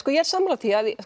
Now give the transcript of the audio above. ég er sammála því